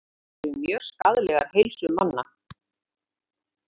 Sígarettur, eins og annað tóbak, eru mjög skaðlegar heilsu manna.